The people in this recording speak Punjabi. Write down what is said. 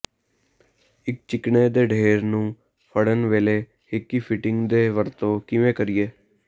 ਇਕ ਚਿਕਨੇ ਦੇ ਢੇਰ ਨੂੰ ਫੜਨ ਵੇਲੇ ਹਿਕੀ ਫਿਟਿੰਗ ਦੀ ਵਰਤੋਂ ਕਿਵੇਂ ਕਰੀਏ